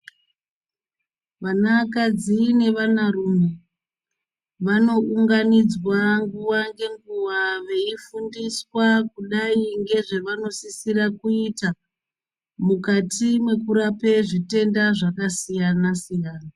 Vana kadzi ne vana rume vano unganidzwa nguva nge nguva vei fundiswa kudai nge zvavano sisira kuita mukati mweku rape zvitenda zvaka siyana siyana.